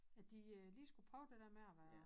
At de øh lige skulle prøve det dér med at være